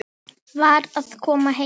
Var að koma heim.